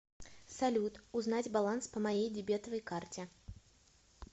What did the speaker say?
салют узнать баланс по моей дебетовой карте